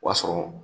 O y'a sɔrɔ